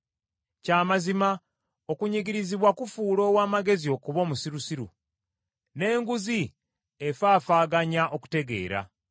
Kya mazima, okunyigirizibwa kufuula ow’amagezi okuba omusirusiru, n’enguzi efaafaaganya okutegeera.